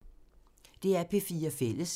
DR P4 Fælles